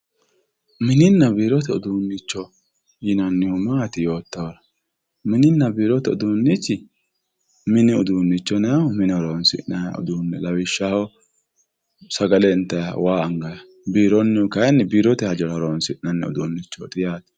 Mininna birote udunicho matti yinanni yotohura mininna birote udduunichi minni udduune yinayihu minne hooronsina'yaho lawishaho sagalle initaha waa agayiha bironihu kayinni birrote hajora horondina'nni udduunichoti yatte